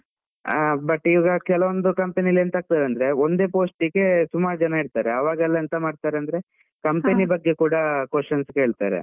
ಆ but ಇವಾಗ ಕೆಲವಂದು company ಅಲ್ಲಿ ಎಂತ ಆಗ್ತದೆ ಅಂದ್ರೆ ಒಂದೇ post ಗೆ ಸುಮಾರ್ ಜನ ಇರ್ತಾರೆ, ಅವಾಗೆಲ್ಲ ಎಂತ ಮಾಡ್ತಾರೆ company ಬಗ್ಗೆ ಕೂಡ questions ಕೇಳ್ತಾರೆ.